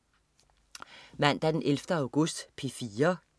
Mandag den 11. august - P4: